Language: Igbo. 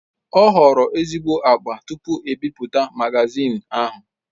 Ọ họrọghi ezigbo agba tupu e bipụta magazin ahụ.